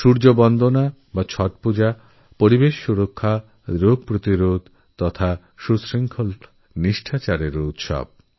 সূর্য বন্দনা অথবা ছট পূজা পরিবেশসংরক্ষণ রোগ নিবারণ এবং অনুশাসনের পর্ব